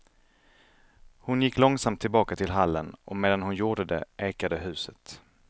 Hon gick långsamt tillbaka till hallen, och medan hon gjorde det ekade huset.